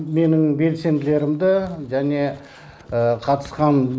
менің белсенділерімді және қатысқан